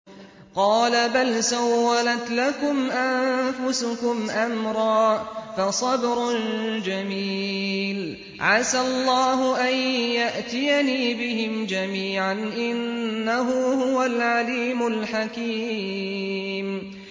قَالَ بَلْ سَوَّلَتْ لَكُمْ أَنفُسُكُمْ أَمْرًا ۖ فَصَبْرٌ جَمِيلٌ ۖ عَسَى اللَّهُ أَن يَأْتِيَنِي بِهِمْ جَمِيعًا ۚ إِنَّهُ هُوَ الْعَلِيمُ الْحَكِيمُ